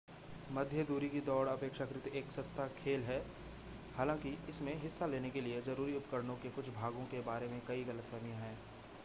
मध्यदूरी की दौड़ अपेक्षाकृत एक सस्ता खेल है हालांकि इसमें हिस्सा लेने के लिए ज़रूरी उपकरणों के कुछ भागों के बारे में कई गलतफ़हमियां हैं